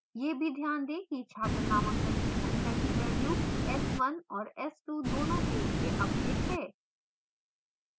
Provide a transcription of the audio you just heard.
यह भी ध्यान दें कि छात्र नामांकन की सख्या की value s1 और s2 दोनों के लिए अपडेट है